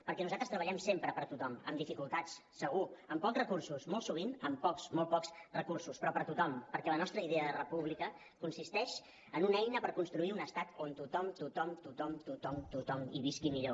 perquè nosaltres treballem sempre per tothom amb dificultats segur amb pocs recursos molt sovint amb pocs molt pocs recursos però per tothom perquè la nostra idea de república consisteix en una eina per construir un estat on tothom tothom tothom tothom hi visqui millor